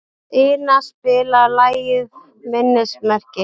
Ina, spilaðu lagið „Minnismerki“.